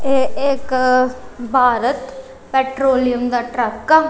ਇਹ ਇਕ ਭਾਰਤ ਪੈਟਰੋਲੀਅਮ ਦਾ ਟਰੱਕ ਆ।